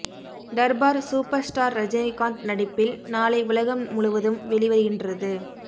Darbar super star Rajinikanth நடிப்பில் நாளை உலகம் முழுவதும் வெளிவருகின்றது